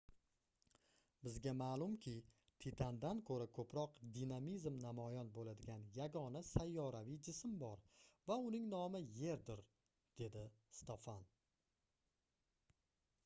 bizga maʼlumki titandan koʻra koʻproq dinamizm namoyon boʻladigan yagona sayyoraviy jism bor va uning nomi yerdir - dedi stofan